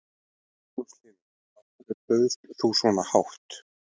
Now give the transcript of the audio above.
Magnús Hlynur: Af hverju bauðst þú svona hátt?